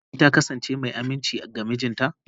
Shin Fati ta kasance mai aminci ga mijinta?